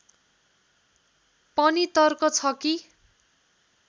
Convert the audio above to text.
पनि तर्क छ कि